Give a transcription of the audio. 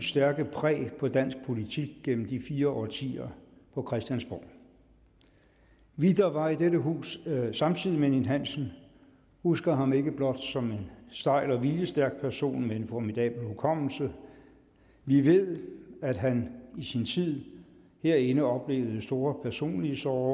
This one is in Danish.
stærkt præg på dansk politik gennem de fire årtier på christiansborg vi der var i dette hus samtidig med erik ninn hansen husker ham ikke blot som en stejl og viljestærk person med en formidabel hukommelse vi ved at han i sin tid herinde oplevede store personlige sorger